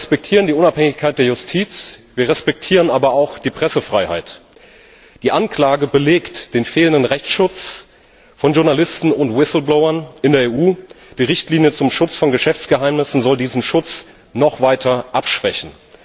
Wir respektieren die Unabhängigkeit der Justiz, wir respektieren aber auch die Pressefreiheit. Die Anklage belegt den fehlenden Rechtsschutz von Journalisten und Whistleblowern in der EU. Die Richtlinie zum Schutz von Geschäftsgeheimnissen soll diesen Schutz noch weiter abschwächen.